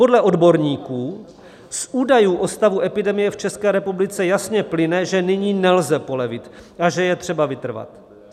Podle odborníků z údajů o stavu epidemie v České republice jasně plyne, že nyní nelze polevit a že je třeba vytrvat.